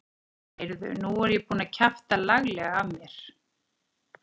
Nei, heyrðu. nú er ég búinn að kjafta laglega af mér!